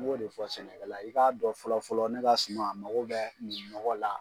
N b'o de fɔ sɛnɛkɛla i k'a dɔn fɔlɔ fɔlɔ ne ka suma a mago bɛ nin ɲɔgɔ la